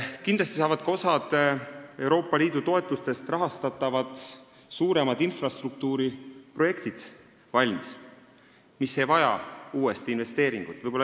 Kindlasti saab osa Euroopa Liidu toetustest rahastatavatest suurematest infrastruktuuriprojektidest valmis, need projektid ei vaja uut investeeringut.